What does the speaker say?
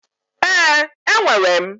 Ee, enwere m.